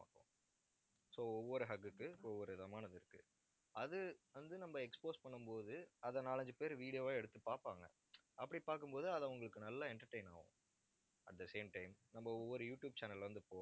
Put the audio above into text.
so ஒவ்வொரு hug க்கு, ஒவ்வொரு விதமானது இருக்கு. அது வந்து, நம்ம expose பண்ணும் போது அதை நாலஞ்சு பேர் video வா எடுத்து பார்ப்பாங்க. அப்படி பார்க்கும் போது அதை உங்களுக்கு நல்லா entertain ஆகும். at the same time நம்ம ஒவ்வொரு யூடியூப் channel ல இருந்து